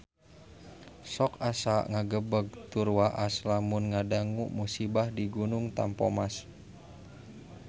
Sok asa ngagebeg tur waas lamun ngadangu musibah di Gunung Tampomas